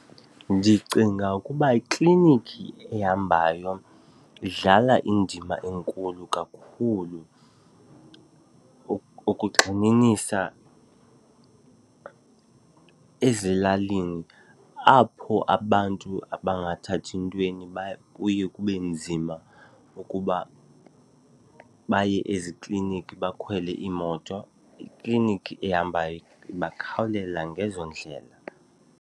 Ndicinga ukuba iklinikki ehambayo idlala indima enkulu kakhulu. Ukugxininisa, ezilalini apho abantu abangathathi ntweni kuye kube nzima ukuba baye eziklinikhi bakhwele iimoto, iklinikhi ehambayo ibakhawulela ngezo ndlela.